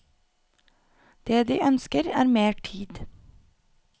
Det de ønsker er mer tid.